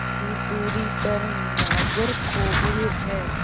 की दूरी पर नागरकोविल है